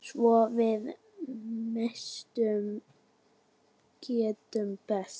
Svo við messu getur bæst.